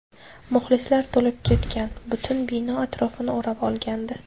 Muxlislar to‘lib ketgan, butun bino atrofini o‘rab olgandi.